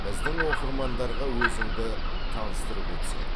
біздің оқырмандарға өзіңді таныстырып өтсең